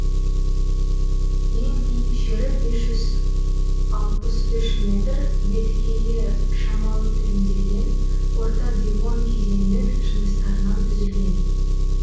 ең биік жері бес жүз алпыс үш метр беткейі шамалы тілімделген орта девон кезеңінің жыныстарынан түзілген